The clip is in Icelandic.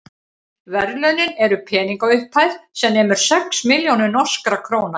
verðlaunin eru peningaupphæð sem nemur sex milljónum norskra króna